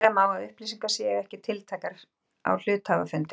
Vera má að upplýsingar séu ekki tiltækar á hluthafafundi.